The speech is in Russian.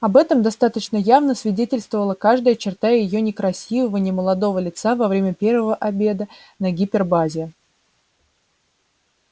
об этом достаточно явно свидетельствовала каждая черта её некрасивого немолодого лица во время первого обеда на гипербазе